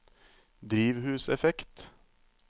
drivhuseffekt